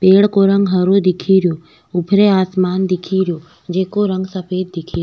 पेड़ को रंग हरो दिखेरो ऊपरे आसमान दिखेरो जेको रंग सफ़ेद दिखे --